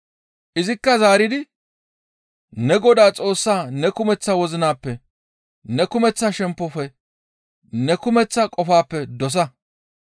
Izikka zaaridi, « ‹Ne Godaa Xoossa ne kumeththa wozinappe, ne kumeththa shemppofe, ne kumeththa qofappe dosa.›